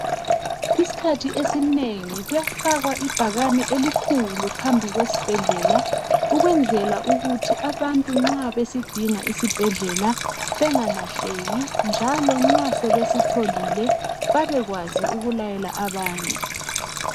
Isikhathi esinengi kuyafakwa ibhakani elikhulu phambi kwesibhedlela ukwenzela ukuthi abantu nxa besidinga isibhedlela bengalahleki njalo nxa sebesitholile babekwazi ukulayela abanye.